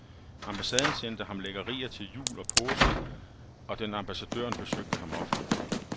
Ambassaden sendte ham lækkerier til jul og påske, og den ambassadøren besøgte ham ofte.